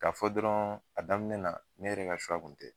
Ka fɔ dɔrɔn a daminɛ na ne yɛrɛ ka kun tɛ.